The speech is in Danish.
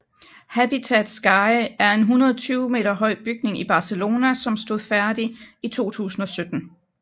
Habitat Sky er en 120 meter høj bygning i Barcelona som stod færdig i 2007